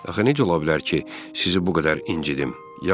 Axı necə ola bilər ki, sizi bu qədər incitim?